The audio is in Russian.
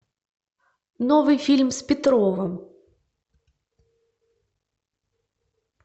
новый фильм с петровым